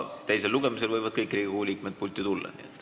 Teisel lugemisel aga võivad kõik Riigikogu liikmed pulti tulla.